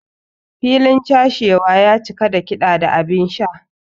Filin chashewa ya cika da kida da abinsha.